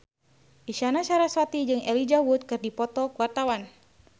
Isyana Sarasvati jeung Elijah Wood keur dipoto ku wartawan